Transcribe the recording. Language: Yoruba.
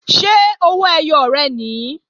Ṣé owó ẹyọ rẹ̀ nìí?